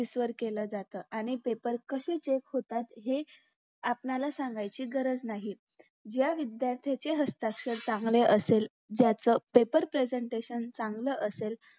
केल्या जातात आणि paper कशी check होतात हे आपणाला सांगायची गरज नाही ज्या विध्यार्थारचे हस्ताक्षर चागले असेल ज्याच paper presentation चांगल असलं